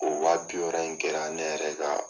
O wa bi wɔɔrɔ in kɛra ne yɛrɛ ka